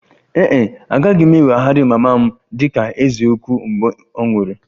Ee e, agaghị m eweghara mama m dị ka eze ukwu mgbe ọ nwụrụ